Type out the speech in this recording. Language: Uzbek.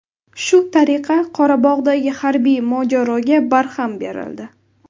Shu tariqa Qorabog‘dagi harbiy mojaroga barham berildi.